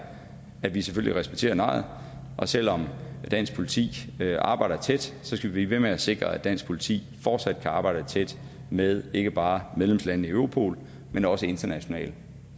at vi selvfølgelig respekterer nejet og selv om dansk politi arbejder tæt skal vi blive ved med at sikre at dansk politi fortsat kan arbejde tæt med ikke bare medlemslandene i europol men også internationalt